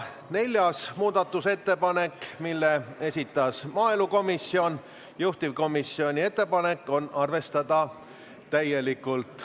Neljas muudatusettepanek, mille on esitanud maaelukomisjon, juhtivkomisjoni ettepanek on arvestada täielikult.